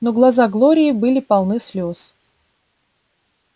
но глаза глории были полны слез